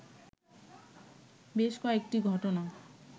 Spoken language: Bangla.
বেশ কয়েকটি ঘটনা